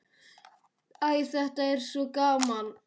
Æ, þetta var svo gaman.